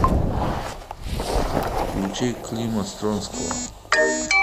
включи клима стронского